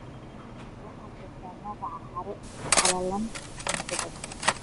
Waxaad sheegtaa magaca haro qallalan sanado badan?